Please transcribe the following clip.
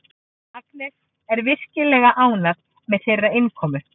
Agnes er virkilega ánægð með þeirra innkomu.